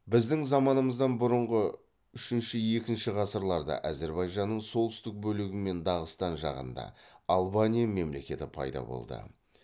біздің заманымыздан бұрынғы үшінші екінші ғасырларда әзірбайжанның солтүстік бөлігі мен дағыстан жағында албания мемлекеті пайда болды